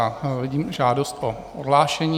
A vidím žádost o odhlášení.